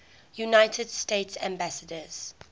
united states ambassadors